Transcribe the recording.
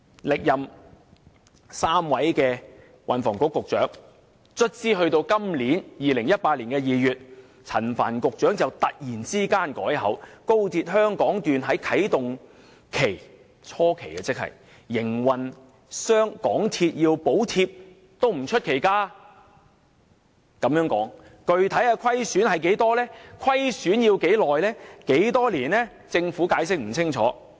歷任3位運輸及房屋局局長，終於到了2018年2月，陳帆局長才突然改口說高鐵香港段在營運初期有啟動期，香港鐵路有限公司需要補貼亦不出奇。